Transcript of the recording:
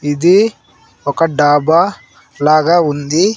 ఇది ఒక డాబా లాగా ఉంది.